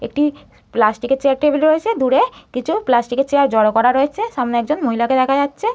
একটি প্লাস্টিক -এর chair table রয়েছে দূরে। কিছু প্লাস্টিক -এর চেয়ার জড়ো করা রয়েছে। সামনে একজন মহিলাকে দেখা যাচ্ছে।